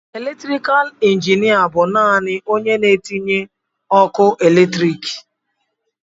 Elektrikal injinịa bụ naanị onye na-etinye ọkụ eletriki.